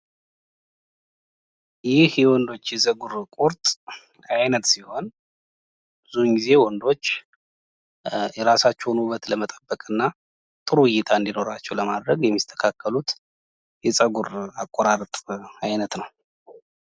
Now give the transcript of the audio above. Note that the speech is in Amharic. ይህ የወንዶች የፀጉር ቁርጥ አይነት ሲሆን ብዙዉን ጊዜ ወንዶች የራሳቸውን ውበት ለመጠቀም እና ጥሩ እይታ እንዲኖራቸው ለማድረግ የሚስተካከሉት የፀጉር አቆራረጥ አይነት ነው ::